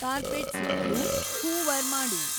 carpet ಸುತ್ಲೂ hoover ಮಾಡು